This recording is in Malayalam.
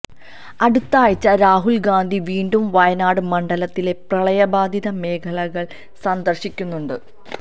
അടുത്തയാഴ്ച രാഹുല് ഗാന്ധി വീണ്ടും വയനാട് മണ്ഡലത്തിലെ പ്രളയബാധിത മേഖലകള് സന്ദര്ശിക്കുന്നുണ്ട്